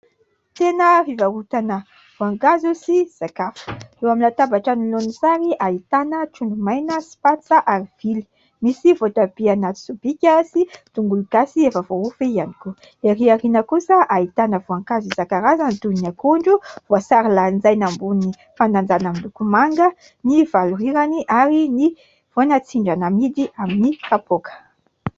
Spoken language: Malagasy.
Tsena fivarotana voankazo sy zavatra hafa, eo amin'ny latabatra anoloany sary ahitana trondro maina sy patsa ary vily, misy voatabia anaty sobika sy tongolo gasy efa voavaofy ihany koa, ery aoriana kosa ahitana voankazo isan-karazany toy ny akondro, voasary lanjaina ambon'ny fandanjana amin'ny loko manga ny valorirany ary ny voanatsindrana amidy amin'ny kapoaka.